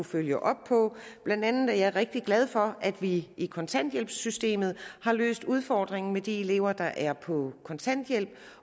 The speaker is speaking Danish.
følge op på blandt andet er jeg rigtig glad for at vi i kontanthjælpssystemet har løst udfordringen med de elever der er på kontanthjælp